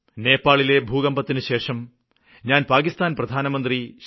നേപ്പാളിലെ ഭൂകമ്പത്തിനുശേഷം ഞാന് പാക്കിസ്ഥാന് പ്രധാനമന്ത്രി ശ്രീ